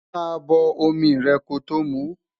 má bó omí rè kòtò mú